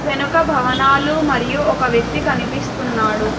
వెనుక భవనాలు మరియు ఒక వ్యక్తి కనిపిస్తున్నాడు.